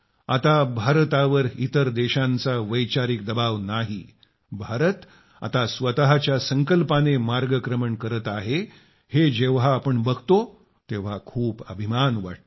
आता भारतावर इतर देशांचा वैचारिक दबाव नाही भारत आता स्वतःच्या संकल्पाने मार्गक्रमण करत आहे हे जेव्हा आपण बघतो तेव्हा खूप अभिमान वाटतो